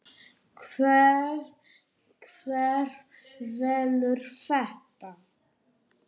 Hver velur þetta?